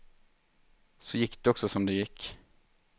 Så gick det också som det gick.